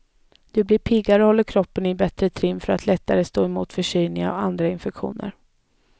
Du blir piggare och håller kroppen i bättre trim för att lättare stå emot förkylningar och andra infektioner.